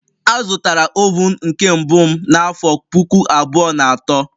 Azụtara oven nke mbụ m n'afọ puku abụọ na atọ